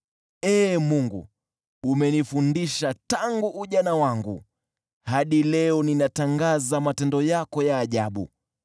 Ee Mungu, umenifundisha tangu ujana wangu, hadi leo ninatangaza matendo yako ya ajabu.